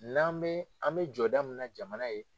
N'an bɛ an bɛ jɔda mun na jamana ye.